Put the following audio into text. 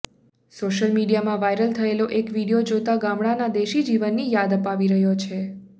social મિડીયામાં viral થયેલો એક વિડીયો જોતા ગામડાના દેશી જીવનની યાદ અપાવી રહ્યો છે